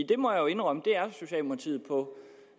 det må jeg indrømme